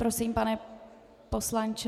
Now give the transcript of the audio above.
Prosím, pane poslanče.